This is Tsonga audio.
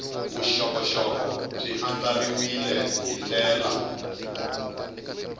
vuxokoxoko byi andlariwile hi ndlela